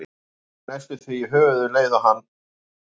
Hann slær mig næstum því í höfuðið um leið og hann fórn